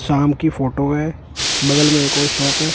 शाम की फोटो है बगल में एक और शॉप है।